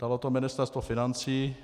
Dalo to Ministerstvo financí.